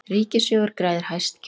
Ríkissjóður greiðir hæst gjöld